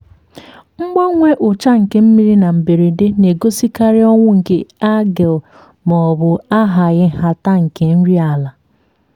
mgbanwe ucha nke mmiri na mberede na-egosikarị ọnwụ nke algae maọbụ ahaghị nhata nke nri ala.